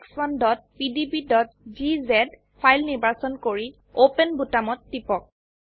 4ex1pdbজিজে file নিৰ্বাচন কৰি open বোতামত টিপক